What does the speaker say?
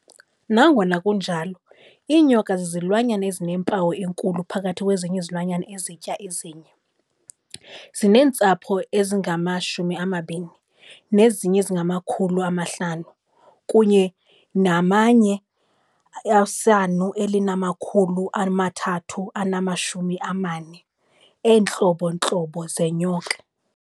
Nangona kunjalo, iinyoka zizilwanyana ezinempumelelo enkulu phakathi kwezilwanyana ezitya ezinye, zineentsapho ezingama-20, nezinye ezingama500 kunye nama-and 3,400 eentlobo ntlobo zeenyoka.